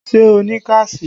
Ṣé o ní káàṣì?